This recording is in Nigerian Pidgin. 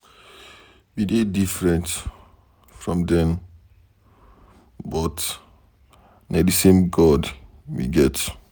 We dey different from dem but na the same God we get.